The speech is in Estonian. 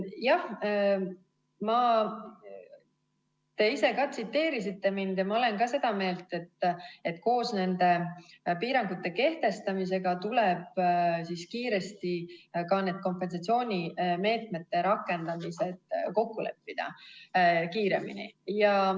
Jah, te ise ka tsiteerisite mind ja ma olen ka seda meelt, et koos piirangute kehtestamisega tuleb kiiresti ka kompensatsioonimeetmete rakendamised kokku leppida kiiremini.